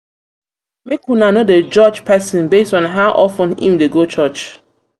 una no dey judge pesin based on how of ten im dey go church.